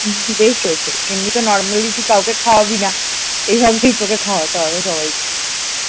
বেশ হয়েছে এমনি তো normally তুই কাউকে খাওয়াবি না? এই ভাবেই তোকে খাওয়াতে হবে সবাইকে।